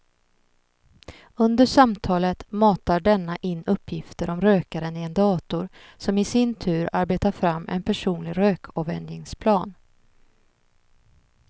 Under samtalet matar denna in uppgifter om rökaren i en dator som i sin tur arbetar fram en personlig rökavvänjningsplan.